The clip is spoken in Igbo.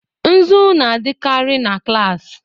Nzu na-adịkarị na klas.